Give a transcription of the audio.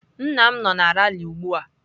Nna m nọ na ralị ugbua.